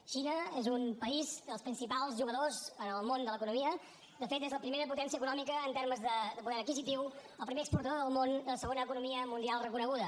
la xina és un país dels principals jugadors en el món de l’economia de fet és la primera potència econòmica en termes de poder adquisitiu el primer exportador del món i la segona economia mundial reconeguda